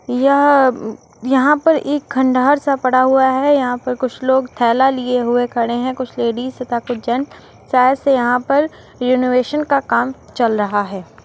यह म्म यहाँ पर एक खंडहर सा पड़ा हुआ है। यहाँ पर कुछ लोग थैला लिए हुए खड़े हैं कुछ लेडिज तथा कुछ जेन्ट । शायद से यहाँ पर रेनोवेशन का काम चल रहा है।